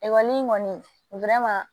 Ekɔli in kɔni